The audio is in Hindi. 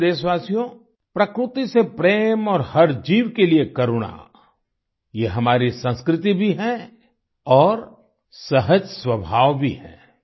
मेरे प्यारे देशवासियो प्रकृति से प्रेम और हर जीव के लिए करुणा ये हमारी संस्कृति भी है और सहज स्वभाव भी है